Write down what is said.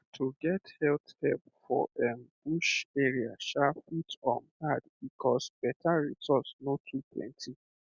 um to get health help for erm bush area um fit um hard because better resources no too plenty